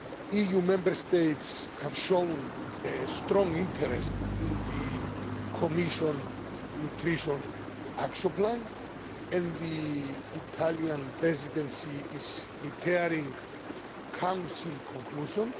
EU Member States have shown a strong interest in the Commission's nutrition action plan, and the Italian Presidency is preparing Council conclusions.